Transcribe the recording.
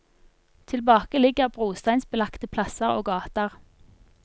Tilbake ligger brosteinsbelagte plasser og gater.